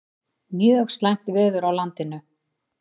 Mjög slæmt veður á landinu